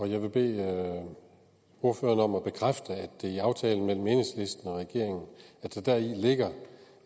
jeg vil bede ordføreren om at bekræfte at i aftalen mellem enhedslisten og regeringen ligger